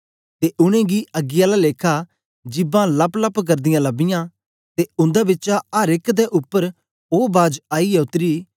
ते उनेंगी अग्गी आला लेखा जिभां लप्पलप्प करदीयां लबीयां ते उंदे बिचा अर एक दे उपर ओ बाज आईयै उतरी